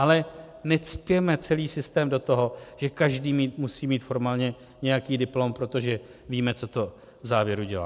Ale necpěme celý systém do toho, že každý musí mít formálně nějaký diplom, protože víme, co to v závěru dělá.